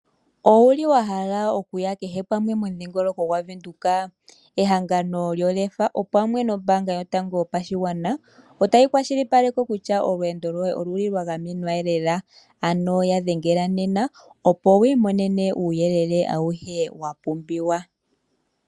Owu li wa hala okuya kehe pamwe momudhingoloko gwaVenduka? Ehangano lyOlefa, pamwe nombaanga yotango yopashigwana, otayi kwashilipaleke kutya olweendo lwoye olu li lwa gamenwa lela. Ya dhengela nena opo wu imonene uuyele awuhe wa pumbiwa.